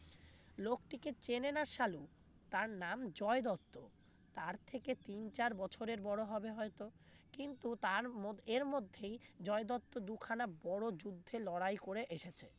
লোকটিকে চেনে না সালু তার নাম জয় দত্ত তার থেকে তিন চার বছরের বড় হবে হয়তো কিন্তু তার মো~এর মধ্যেই জয় দত্ত দুখানা বড় যুদ্ধে লড়াই করে এসেছে